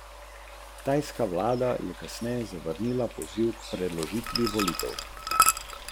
Ko zagori tobak, se začnejo sproščati škodljive substance v dimu, ki ga vdihava kadilec.